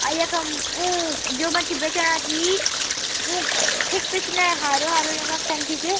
अ यखम ऊं जू मच्छी बेचण्यां छी ऊक ठिक पिछने हारो हारो रंग क टंकी च।